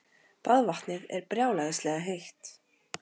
Baðvatnið er brjálæðislega heitt.